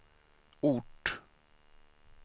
ort